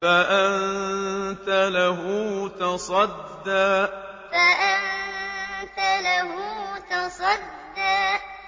فَأَنتَ لَهُ تَصَدَّىٰ فَأَنتَ لَهُ تَصَدَّىٰ